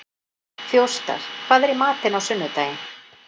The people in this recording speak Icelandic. Þjóstar, hvað er í matinn á sunnudaginn?